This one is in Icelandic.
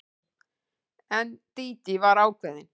En Dídí var ákveðin.